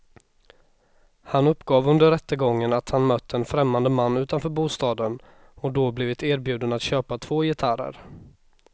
Han uppgav under rättegången att han mött en främmande man utanför bostaden och då blivit erbjuden att köpa två gitarrer.